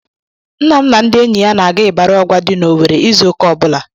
Nna m na ndị enyi ya na-aga Ịbarị Ọgwa dị n'Owerre izu ụka ọ bụla.